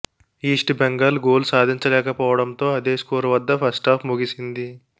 east Bengal goal సాధించలేకపోవడంతో అదే score వద్ద ఫస్టాఫ్ ముగిసింది